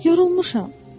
Yox olmuşam.